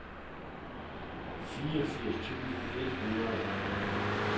fireogfirs tusind et hundrede og atten